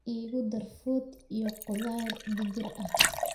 igu dar fuud iyo qudar digir ahh